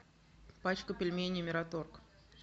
пачку пельменей мираторг